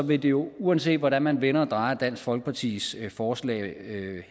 vil det jo uanset hvordan man vender og drejer dansk folkepartis forslag